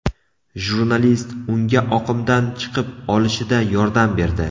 Jurnalist unga oqimdan chiqib olishida yordam berdi.